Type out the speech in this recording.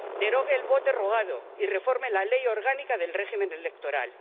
Derogue el voto rogado y reforme la Ley Orgánica del Régimen Electoral.